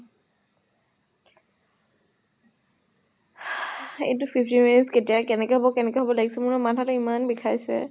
এইটো fifteen minutes কেতিয়া কেনেকে হব কেনেকে হব লাগিছে, মোৰ নহয় মাথা টো ইমান বিষাইছে।